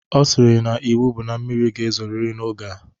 Ọ sịrị n'iwu bụ na mmiri ga-ezoriri n'oge a